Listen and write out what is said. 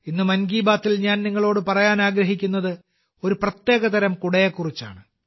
ഇന്ന് 'മൻ കി ബാത്തിൽ' ഞാൻ നിങ്ങളോട് പറയാൻ ആഗ്രഹിക്കുന്നത് ഒരു പ്രത്യേകതരം കുടയെക്കുറിച്ചാണ്